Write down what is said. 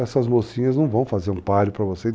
Essas mocinhas não vão fazer um páreo para você.